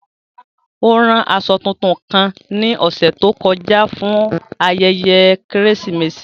O ran aṣọ tuntun kan ni ọsẹ to kọja fun ayẹyẹ Keresimesi.